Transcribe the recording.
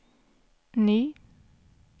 ny